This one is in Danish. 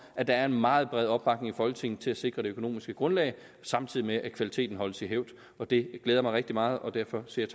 at der er en meget bred opbakning i folketinget til at sikre det økonomiske grundlag samtidig med at kvaliteten holdes i hævd det glæder mig rigtig meget og derfor siger